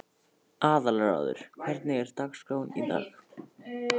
Aðalráður, hvernig er dagskráin í dag?